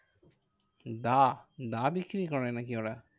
দা? দা বিক্রি করে নাকি ওরা?